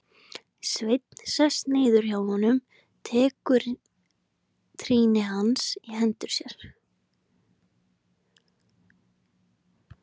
Sveinn sest niður hjá honum, tekur trýni hans í hendur sér.